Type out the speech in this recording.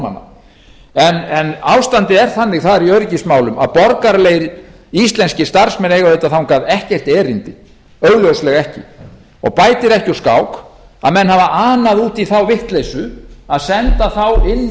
norðmanna en ástandið er þannig þar í öryggismálum að borgaralegir íslenskir starfsmenn eiga auðvitað þangað ekkert erindi augljóslega ekki og bætir ekki úr skák að menn hafa anað út í þá vitleysu að senda þá inn